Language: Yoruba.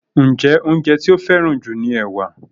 Njé oúnjẹ ti o feran ju ní ẹwà?